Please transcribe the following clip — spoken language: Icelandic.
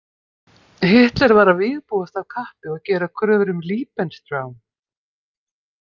Hitler var að vígbúast af kappi og gera kröfur um „Lebensraum“.